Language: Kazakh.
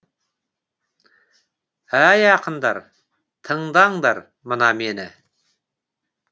әй ақындар тыңдаңдар мына мені